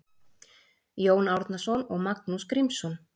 Jón Árnason og Magnús Grímsson